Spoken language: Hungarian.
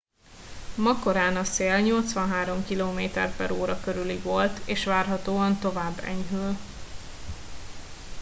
ma korán a szél 83 km/h körüli volt és várhatóan tovább enyhül